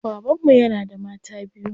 Baban mu yana da mata biyu.